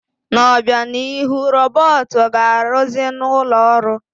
N'obịanihu, robọọtụ ga-arụzị n'ụlọ ọrụ.